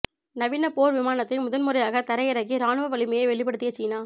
நவீன போர் விமானத்தை முதன் முறையாக தரை இறக்கி ராணுவ வலிமையை வெளிப்படுத்திய சீனா